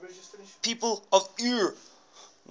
people from eure